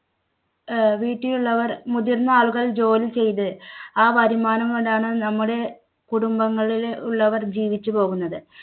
ആഹ് വീട്ടിലുള്ളവർ മുതിർന്ന ആളുകൾ ജോലി ചെയ്ത്, ആ വരുമാനം കൊണ്ടാണ് നമ്മുടെ കുടുംബങ്ങളിലെ ഉള്ളവർ ജീവിച്ചു പോകുന്നത്.